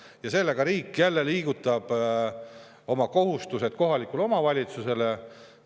Ja sellega riik jälle liigutab oma kohustused kohaliku omavalitsuse kaela.